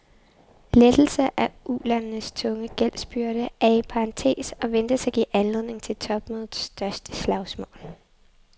Lettelse af ulandenes tunge gældsbyrde er i parentes og ventes at give anledning til topmødets største slagsmål.